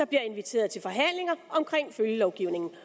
bliver inviteret til forhandlinger omkring følgelovgivningen